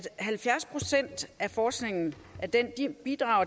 halvfjerds procent af forskningen